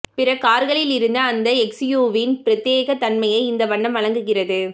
பிற கார்களிலிருந்து அந்த எஸ்யூவியின் பிரத்யேகத் தன்மையை இந்த வண்ணம் வழங்குகிறது